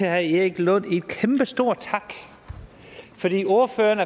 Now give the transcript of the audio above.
herre erik lund en kæmpestor tak fordi ordføreren